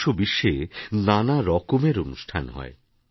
দেশ ও বিশ্বে নানা রকমের অনুষ্ঠান হয়